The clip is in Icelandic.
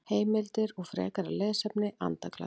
Heimildir og frekara lesefni Andaglas.